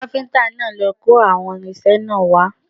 Kápíntà náà ló kó àwọn irinṣẹ́ náà wá